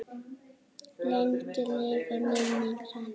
Lengi lifi minning hans.